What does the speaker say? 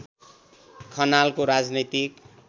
खनालको राजनैतिक